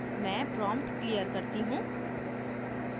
मैं prompt clear करती हूँ